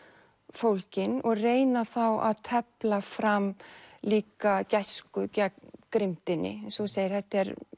fólgin og reyna þá að tefla fram líka gæsku gegn eins og þú segir þetta er